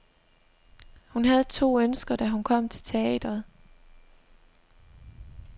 Hun havde to ønsker, da hun kom til teatret.